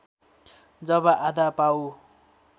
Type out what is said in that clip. जब आधा पाउ